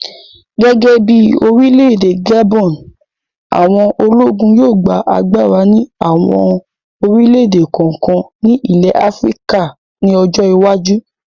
Gẹ́gẹ́ bí orílẹ̀-èdè Gabon, àwọn ológun yóò gba agbára ní àwọn orílẹ̀-èdè kọ̀ọ̀kan ní ilẹ̀ Áfíríkà ní ọjọ́ iwájú